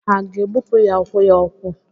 Ha ga-egbupụ ya ụkwụ ya ụkwụ.